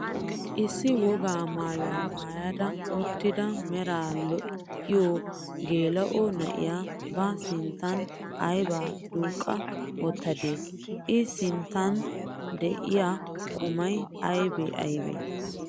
Issi wogaa maayuwa maayada uttida meray lo"iyoo geela'o na'iyaa ba sinttan aybaa duuqqa wottadee? i sinttan de'iyaa qumay aybee aybee?